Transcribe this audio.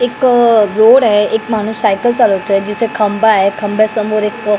एक जोड आहे एक माणूस सायकल चालवतोय जिथे खंबा आहे खंबे समोर एक --